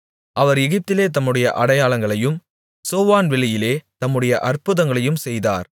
அவர் எகிப்திலே தம்முடைய அடையாளங்களையும் சோவான் வெளியிலே தம்முடைய அற்புதங்களையும் செய்தார்